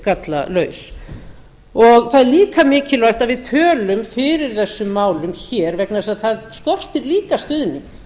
gallalaus það er líka mikilvægt að við tölum fyrir þessum málum hér vegna þess að það skortir líka stuðning